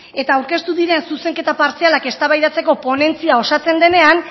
eta aurkeztu diren zuzenketa partzialak eztabaidatzeko ponentzia osatzen denean